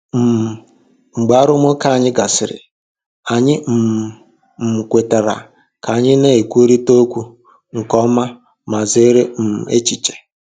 um Mgbe arụmụka anyị gasịrị, anyị um um kwetara ka anyị na-ekwurịta okwu nke ọma ma zere um echiche.